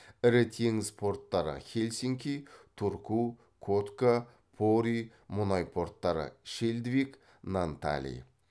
ірі теңіз порттары хельсинки турку котка пори мұнай порттары шельдвиг нантали